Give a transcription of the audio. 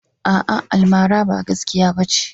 A'a almara ba gaskiya bace.